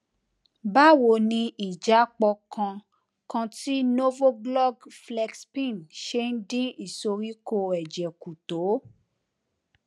báwo ni ìjápọ kan kan ti novolog flexpen ṣe ń dín ìsoríkó èjè kù tó